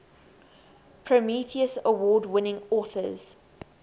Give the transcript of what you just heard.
prometheus award winning authors